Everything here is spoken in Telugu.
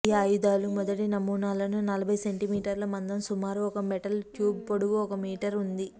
ఈ ఆయుధాలు మొదటి నమూనాలను నలభై సెంటీమీటర్ల మందం సుమారు ఒక మెటల్ ట్యూబ్ పొడవు ఒక మీటర్ ఉంది